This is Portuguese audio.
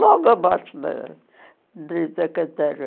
Logo abaixo da dê da Cantareira.